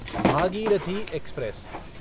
Bhagirathi express